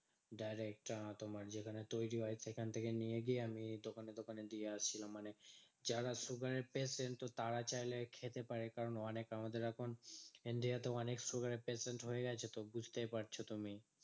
Direct আহ তোমার যেখানে তৈরী হয় সেখান থেকে নিয়ে গিয়ে আমি দোকানে দোকানে দিয়ে আসছিলাম। মানে যারা sugar এর patient তো তারা চাইলে খেতে পারে। কারণ অনেক আমাদের এখন India তে অনেক sugar এর patient হয়ে গেছে তো, বুঝতে পারছো তুমি?